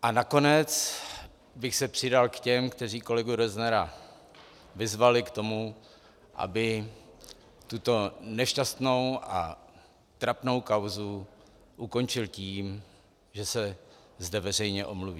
A nakonec bych se přidal k těm, kteří kolegu Roznera vyzvali k tomu, aby tuto nešťastnou a trapnou kauzu ukončil tím, že se zde veřejně omluví.